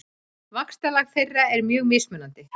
Vaxtarlag þeirra er mjög mismunandi.